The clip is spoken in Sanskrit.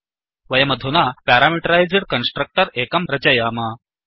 वयमधुना प्यारामीटरैस्ड् कन्स्ट्रक्टर् एकं रचयाम